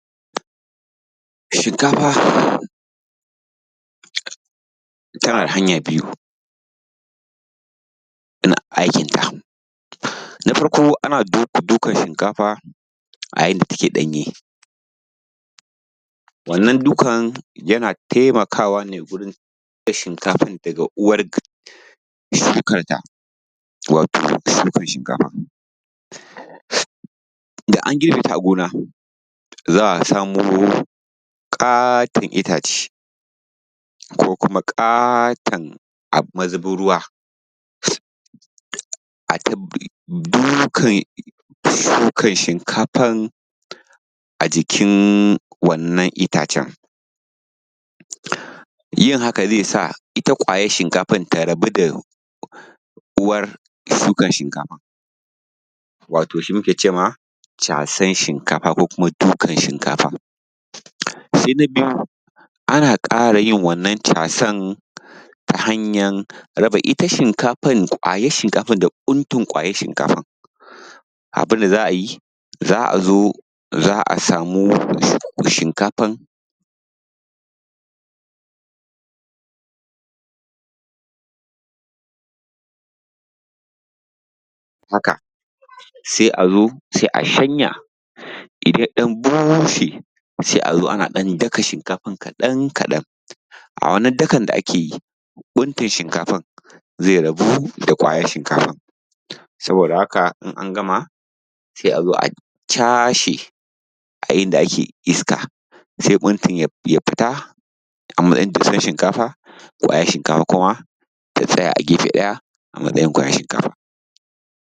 Shinkafa tana da hanya biyu, ana aikinta. Na farko ana dukan shinkafa a yayinda take danye wannan dukan yana taimakawa ne wurin da uwar shukanta wato shukan shinkafan da an girbeta a gona za a samo ƙaton itace ko kuma ƙaton mazubin ruwa ay ta dukan shukan shinkafan a jikin wannan itacen, yin haka zai sa ita kwayar shinkafan ta rabu da uwar shukan shinkafan wato shi muke cema casan shinkafa ko shukan shinkafan. Sai na biyu ana ƙara yin wannan casan ta hanyar raba ita shinkafan da kwayar, kwayar shinkafan da buntun kwayar shinkafan, abun da za a yi za a zo za a samu shinkafan haka, sai a zo sai a shanya idan ya dan bushe sai a zo ana daka shinkafan kaɗan kaɗan, a wannan dakan dakan da ake yi buntun shinkafan zai rabu da kwayar shinkafan. Saboda da haka in an gama sai a zo cashe a inda ake iska, sai buntun ya fita amatsayin dussan shinkafa, kwayar shinkafa ta tsaya a gefe a matsayin kwayar shinkafa.